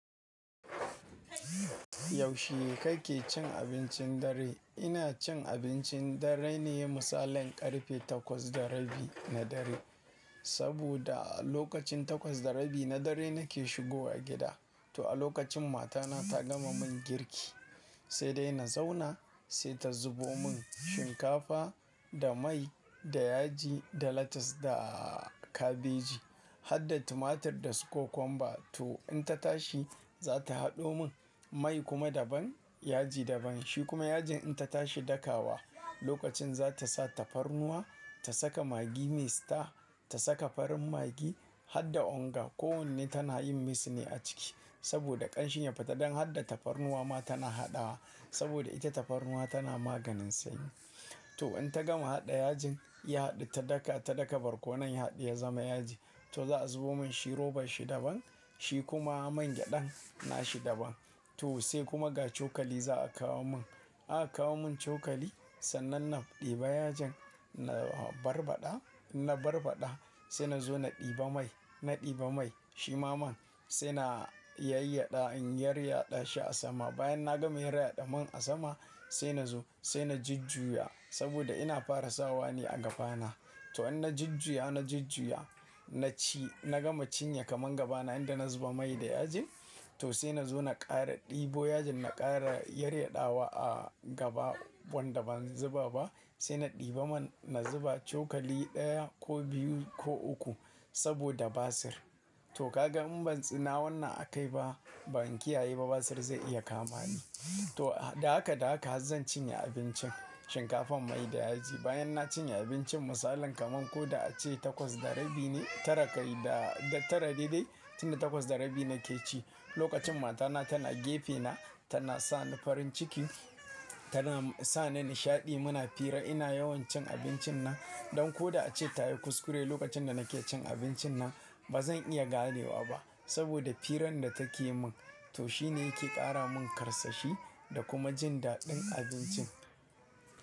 Yaushe kake cin abincin dare? Ina cin abincin dare ne misalin ƙarfe takwas da rabi na dare. Saboda a lokacin takwas da rabi na dare nake shigo wa gida. To a lokacin matana ta gama mun girki sai dai na zauna sai ta zubo mun shinkafa da mai da yaji da lettuce da kabeji. Hadda tumatir da cucumber. To in ta tashi za ta haɗo mun mai kuma daban yaji daban. Shi kuma yajin in ta tashi dakawa lokacin za ta sa tafarnuwa ta saka maggi me star ta saka farin maggi. Hadda onga. Kowanne tana yin mix ne a ciki saboda ƙanshin ya fita. Dan Hadda tafarnuwa ma tana haɗawa saboda ita tafarnuwa tana maganin sanyi. To in ta gama haɗa yajin ya haɗu ta daka ta daka barkonon ya haɗu ya zama yaji. To za a zubo mun shi roban shi daban. Shi kuma man gyadan na shi daban. To sai kuma ga cokali za a kawo mun. Aka kawo mun cokali sannan na ɗiba yajin na barbaɗa na barbaɗa sai na zo na ɗiba mai na ɗiba mai. Shi ma man sai na yayyaɗa in yaryaɗa shi a sama. Bayan na gama yaryaɗa man a sama sai na zo sai na jujjuya saboda ina fara sawa ne a gaba na. To in na jujjuya na jujjuya, na ci na gama cinye kaman gaba na inda na zuba mai da yaji. To sai na zo na ƙara ɗibo yajin na ƙara yaryaɗawa a gaba wanda ban zuba ba. Sai na ɗiba man na zuba cokali ɗaya ko biyu ko uku saboda basir. To ka ga mun ban tsina wannan a kai ba ban kiyaye ba basir zai iya kama ni. To da haka da haka har zan cinye abincin shinkafan mai da yaji. Bayan na cinye abincin misalin kaman ko da a ce takwas da rabi ne tara kai da tara daidai tun da takwas da rabi nake ci. Lokacin matana tana gefe na tana sa ni farin ciki tana sa ni nishaɗi muna fira. Ina yawan cin abincin nan don ko da a ce ta yi kuskure lokacin da nake cin abincin nan bazan iya ganewa ba saboda firan da take mun to shine yake ƙara mun ƙarsashi da kuma jin daɗin abincin.